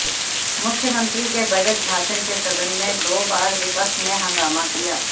मुख्यमंत्री के बजट भाषण के सदन में दो बार विपक्ष ने हंगामा किया